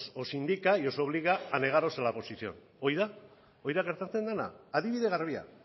os indica y os obliga a negaros a la oposición hori da gertatzen dena adibide garbia